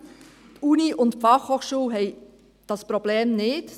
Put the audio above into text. Die Uni und die Fachhochschule haben dieses Problem nicht.